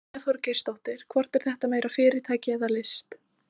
Brynja Þorgeirsdóttir: Hvort er þetta meira fyrirtæki eða list?